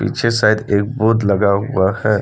Side एक board लगा हुआ है।